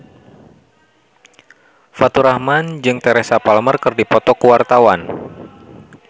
Faturrahman jeung Teresa Palmer keur dipoto ku wartawan